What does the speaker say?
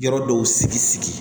Yɔrɔ dɔw sigi sigi